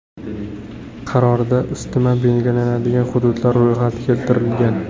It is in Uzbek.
Qarorda ustama belgilanadigan hududlar ro‘yxati keltirilgan.